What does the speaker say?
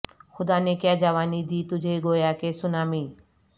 خدا نے کیا جوانی دی تجھے گویا کہ سونامی